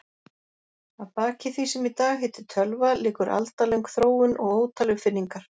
Að baki því sem í dag heitir tölva liggur aldalöng þróun og ótal uppfinningar.